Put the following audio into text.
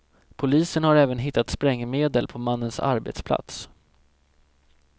Polisen har även hittat sprängmedel på mannens arbetsplats.